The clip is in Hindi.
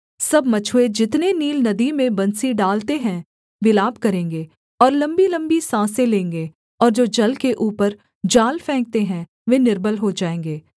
सब मछुए जितने नील नदी में बंसी डालते हैं विलाप करेंगे और लम्बीलम्बी साँसें लेंगे और जो जल के ऊपर जाल फेंकते हैं वे निर्बल हो जाएँगे